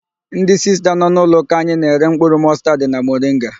Ndị Sista nọ n'ụlọụka anyị na-ere mkpụrụ mọstaad na moringa.